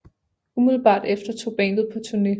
Umiddelbart efter tog bandet på turné